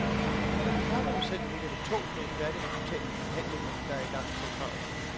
Ifølge parterne selv ligger det tungt med et færdigt resultat i de forhandlinger, der er i gang centralt.